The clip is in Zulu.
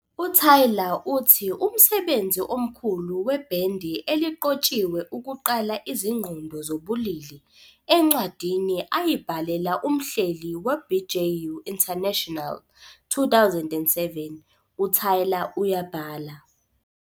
UTaylor uthi umsebenzi omkhulu webhendi eliqotshiwe ukuqala izingqondo zobulili. Encwadini ayibhalela umhleli "weBJU International", 2007, uTaylor uyabhala.